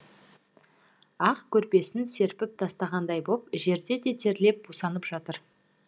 ақ көрпесін серпіп тастағандай боп жер де терлеп бусанып жатыр